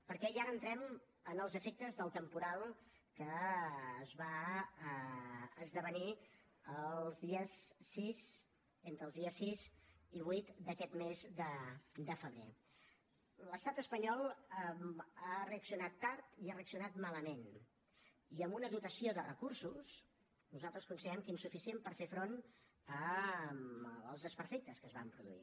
perquè i ara entrem en els efectes del temporal que es va esdevenir entre els dies sis i vuit d’aquest mes de febrer l’estat espanyol ha reaccionat tard i ha reaccionat malament i amb una dotació de recursos que nosaltres considerem insuficient per fer front als desperfectes que es van produir